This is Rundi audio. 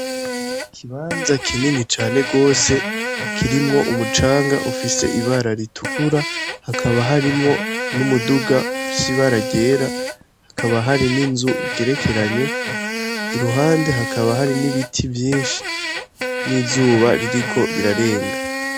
Iki banza kinini cane gose kirimwo umucanga ufise ibara ritukura hakaba harimwo n'umuduga ufise ibara ryera hakaba hari n'inzu igerekeranye iruhande hakaba hari n'ibiti vyishi n'izuba ririko rirarenga.